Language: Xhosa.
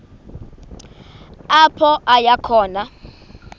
apho aya khona